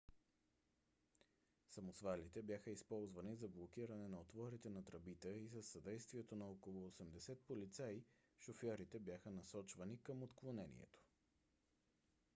самосвалите бяха използвани за блокиране на отворите на тръбите и със съдействието на около 80 полицаи шофьорите бяха насочвани към отклонението